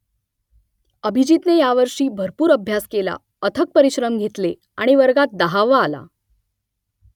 अभिजीतने यावर्षी भरपूर अभ्यास केला अथक परिश्रम घेतले आणि वर्गात दहावा आला